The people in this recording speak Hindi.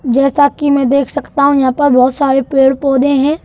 जैसा कि मैं देख सकता हूं यहां पर बहोत सारे पेड़-पौधे हैं।